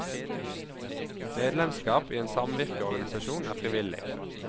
Medlemsskap i en samvirkeorganisasjon er frivillig.